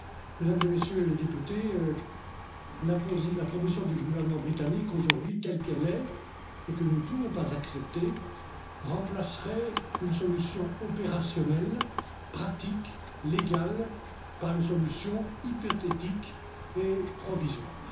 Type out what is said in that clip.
Mesdames et Messieurs les députés, la proposition du gouvernement britannique aujourd'hui telle qu'elle est et que nous ne pouvons pas accepter remplacerait une solution opérationnelle, pratique, légale, par une solution hypothétique et provisoire.